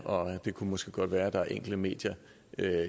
og det kunne måske godt være at der var enkelte medier